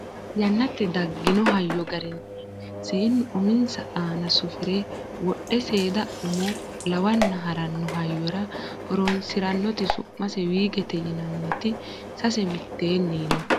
yannate daggino hayyo garinni seennu uminsa aana sufire wodhe seeda unmo lawanna haranno hayyora horonsirannoti su'mase wiigete yinanniti sase mitteenni no